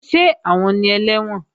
Ṣé àwọn ni ẹlẹ́wọ̀n?